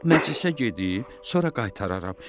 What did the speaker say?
Məclisə gedib, sonra qaytararam.